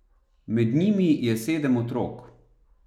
Med njimi je sedem otrok.